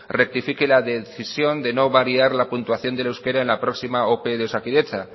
rectifique la decisión de no variar la puntuación del euskera en la próxima ope de osakidetza